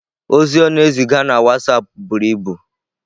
Ozi ọ na-eziga na WhatsApp buru ibu.